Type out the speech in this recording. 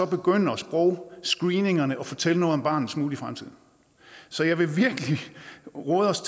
begynder sprogscreeningerne at fortælle noget om barnets mulige fremtid så jeg vil virkelig råde os